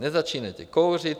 Nezačínejte kouřit.